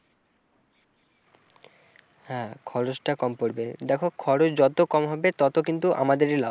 হ্যাঁ খরচটা কম পড়বে দেখো খরচ যত কম হবে তত কিন্তু আমাদেরই লাভ।